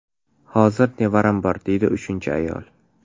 Hozir nevaram bor”, deydi uchinchi ayol.